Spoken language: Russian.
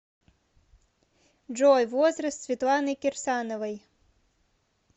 джой возраст светланы кирсановой